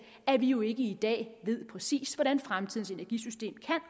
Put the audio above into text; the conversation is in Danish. at vi jo ikke i dag ved præcis hvordan fremtidens energisystem